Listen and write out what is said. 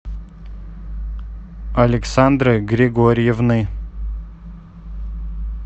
александры григорьевны